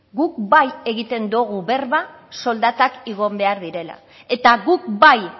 guk bai egiten dogu berba soldatak igo behar direla eta guk bai